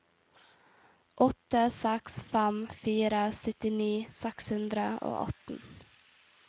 åtte seks fem fire syttini seks hundre og atten